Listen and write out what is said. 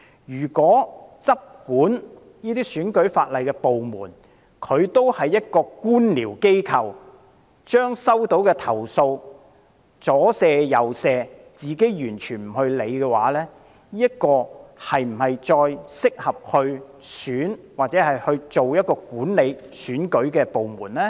如果執管選舉法例的部門也是官僚機構，把收到的投訴"左卸右卸"，完全不處理，又是否適合繼續負責管理選舉呢？